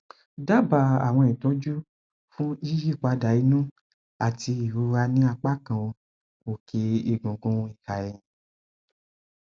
pẹlẹ ẹ o um mo jẹ ọmọ ọdún marundinlogoji tí mo sì lóyún ọsẹ metala